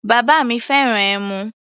Bàbá mi fẹ́ràn ẹmu.